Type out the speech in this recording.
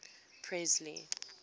presley